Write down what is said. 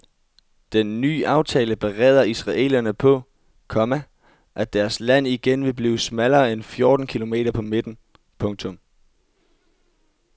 Den ny aftale bereder israelerne på, komma at deres land igen vil blive smallere end fjorten kilometer på midten. punktum